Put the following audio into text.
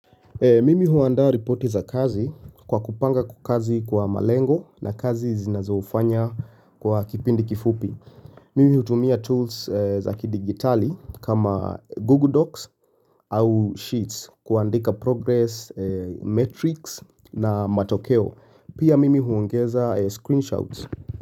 Mimi huanda ripoti za kazi kwa kupanga kwa kazi kwa malengo na kazi zinazoufanya kwa kipindi kifupi Mimi hutumia tools za kidigitali kama Google Docs au Sheets kuandika progress, metrics na matokeo Pia mimi huongeza screenshot.